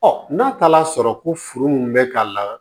n'a taala sɔrɔ ko furu min bɛ ka na